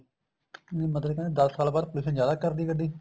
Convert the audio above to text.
ਮਤਲਬ ਕਹਿੰਦੇ ਦਸ ਸਾਲ ਬਾਅਦ pollution ਜਿਆਦਾ ਕਰਦੀ ਹੈ ਗੱਡੀ